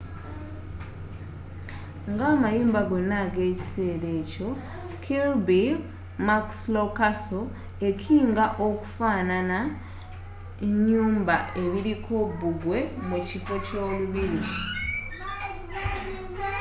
nga amayumba gonnna ag'ekisser akyo kirby muxloe castle ekinga kufaanana nyumba ebiriko bbugwe mukifo ky'olubiri